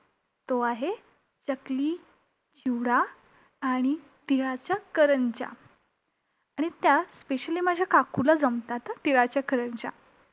चकली, चिवडा आणि तिळाच्या करंज्या! आणि त्या specially माझ्या काकूला जमतात हां, तिळाच्या करंज्या.